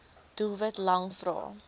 doelwit lang vrae